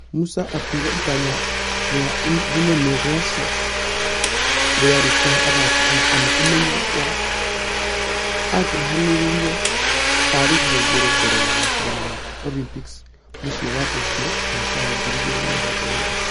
Musa akĩuga itanya rĩa rĩnene russia rĩarĩ kũhe athaki aya ana ũmenyo wa angryhanĩri a rigi ya igũrũ mbere ya mashidano ma olympics mũciĩ wa tolyo mwaka wa ngiri igĩrĩ na mĩrongo ĩrĩ.